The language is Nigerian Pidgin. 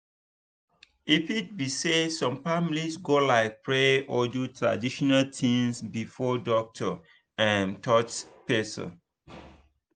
e fit be say some families go like pray or do traditional things before doctor um touch person.